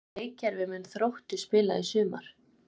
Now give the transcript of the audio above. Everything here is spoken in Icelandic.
Hvaða leikkerfi mun Þróttur spila í sumar?